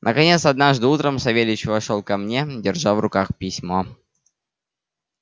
наконец однажды утром савельич вошёл ко мне держа в руках письмо